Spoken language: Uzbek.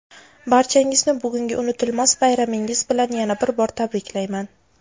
barchangizni bugungi unutilmas bayramingiz bilan yana bir bor tabriklayman.